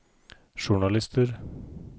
journalister